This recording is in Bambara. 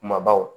Kumabaw